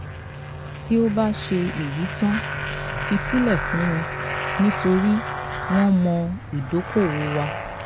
"tí o bá ṣe èyí tán fi sílẹ̀ fún wọn nítorí wọ́n mọ̀ ìdókòwò wà."